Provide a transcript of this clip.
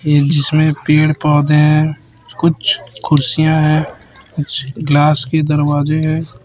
ये जिसमें पेड़- पौधे है कुछ कुर्सियाँ है कुछ ग्लास के दरवाजे हैं।